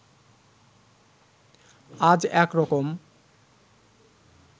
আজ একরকম